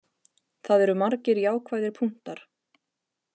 Það eru margir jákvæðir punktar.